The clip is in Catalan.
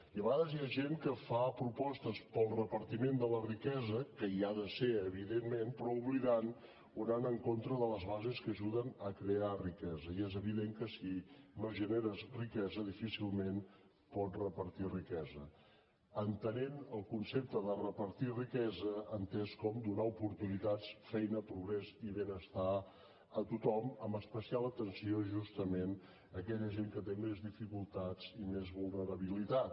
i a vegades hi ha gent que fa propostes pel repartiment de la riquesa que hi ha de ser evidentment però oblidant o anant en contra de les bases que ajuden a crear riquesa i és evident que si no generes riquesa difícilment pots repartir riquesa entenent el concepte de repartir riquesa entès com donar oportunitats feina progrés i benestar a tothom amb especial a l’atenció justament a aquella gent que té més dificultats i més vulnerabilitat